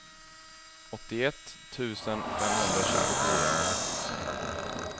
åttioett tusen femhundratjugofyra